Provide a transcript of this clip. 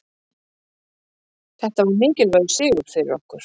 Þetta var mikilvægur sigur fyrir okkur